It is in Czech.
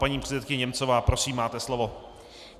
Paní předsedkyně Němcová, prosím máte slovo.